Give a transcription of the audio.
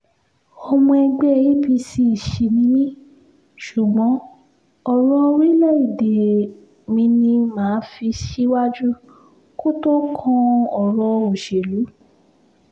ọmọ ẹgbẹ́ apc sì ni mí ṣùgbọ́n ọ̀rọ̀ orílẹ̀-èdè mi ni mà á fi síwájú kó tó kan ọ̀rọ̀ òṣèlú